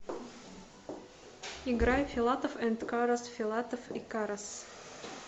играй филатов энд карас филатов и карас